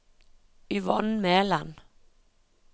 Yvonne Meland